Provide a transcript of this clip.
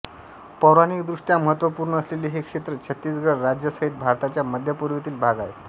पौराणिकदृष्ट्या महत्त्वपूर्ण असलेले हे क्षेत्र छत्तीसगढ राज्यासहित भारताच्या मध्यपूर्वेतील भाग आहे